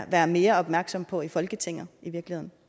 være mere opmærksom på i folketinget